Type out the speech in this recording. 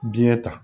Biɲɛ ta